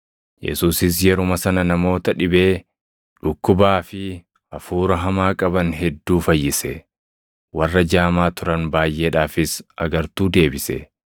Yesuusis yeruma sana namoota dhibee, dhukkubaa fi hafuura hamaa qaban hedduu fayyise; warra jaamaa turan baayʼeedhaafis agartuu deebise.